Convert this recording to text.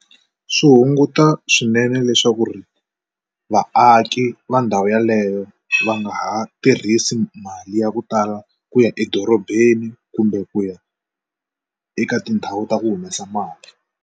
Swi hunguta swinene leswaku ri vaaki va ndhawu yeleyo va nga ha tirhisi mali ya ku tala ku ya edorobeni kumbe ku ya eka tindhawu ta ku humesa mali.